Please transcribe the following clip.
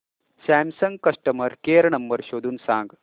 Samsung customer care number शोधून सांग